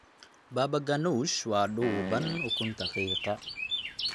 Baba ganoush waa dhuuban ukunta qiiqa.